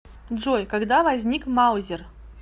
джой когда возник маузер